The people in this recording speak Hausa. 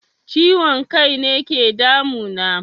Ciwon kaine ke damu na